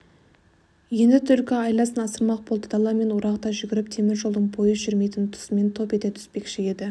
енді түлкі айласын асырмақ болды даламен орағыта жүгіріп темір жолдың пойыз жүрмейтін тұсынан топ ете түспекші еді